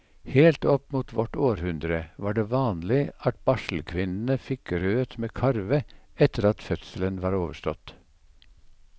Helt opp mot vårt århundre var det vanlig at barselkvinnene fikk grøt med karve etter at fødselen var overstått.